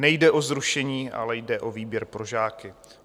Nejde o zrušení, ale jde o výběr pro žáky.